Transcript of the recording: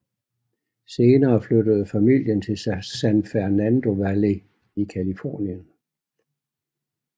Senere flyttede familien til San Fernando Valley i Californien